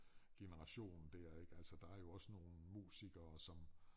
Generation der ik altså der jo også nogle musikere som